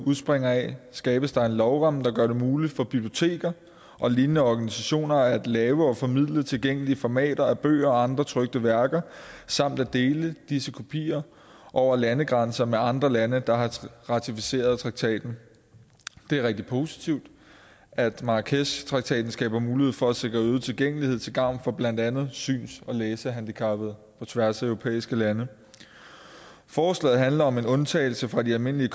udspringer af skabes der en lovramme der gør det muligt for biblioteker og lignende organisationer at lave og formidle tilgængelige formater af bøger og andre trykte værker samt at dele disse kopier over landegrænser med andre lande der har ratificeret traktaten det er rigtig positivt at marrakeshtraktaten skaber mulighed for at sikre øget tilgængelighed til gavn for blandt andet syns og læsehandicappede på tværs af europæiske lande forslaget handler om en undtagelse fra de almindelige